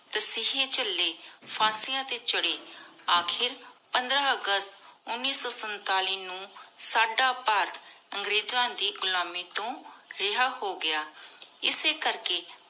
ਤਾਸਿਹ੍ਯ ਚਲੇ ਫਾਂਸਿਯਾਂ ਟੀ ਚਾਢ਼ੇ ਅਖੀਰ ਪੰਦ੍ਰ ਅਗਸਤ ਉਨੀ ਸੋ ਸੰਤਾਲਿਸ ਨੂ ਸਦਾ ਭਾਰਤ ਅੰਗ੍ਰੇਜ਼ਾਂ ਦੇ ਘੁਲਮਿ ਤੋ ਰਿਹਾ ਹੋ ਗਯਾ ਇਸੀ ਕਰ ਕੀ